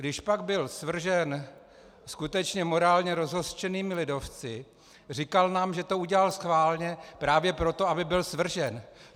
Když pak byl svržen skutečně morálně rozhořčenými lidovci, říkal nám, že to udělal schválně právě proto, aby byl svržen.